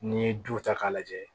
N'i ye du ta k'a lajɛ